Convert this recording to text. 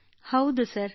ಕೃತ್ತಿಕಾ ಹೌದು ಸರ್